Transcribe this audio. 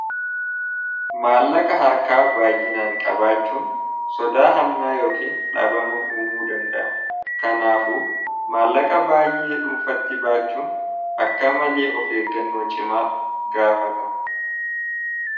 maallaqa harkaa baayyinaan qabaachuun sodaa hannaa yookiin dhaabama uumuu danda'a kanaafu maallaqa baayee dhuunfatti baachuun akka malee of eeggannoo cimaa gaafata